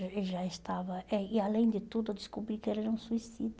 Ele já estava, é e além de tudo, eu descobri que ele era um suicida.